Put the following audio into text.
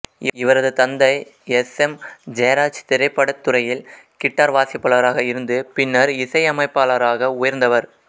இவரது தந்தை S M Jayaraj திரைப்படத்துறையில் கிட்டார் வாசிப்பவராக இருந்து பின்னர் இசையமைப்பாளராக உயர்ந்தவர்